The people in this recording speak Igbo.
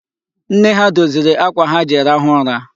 Nne ha doziri akwa ha ji rahụ ụra.